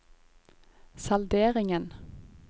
salderingen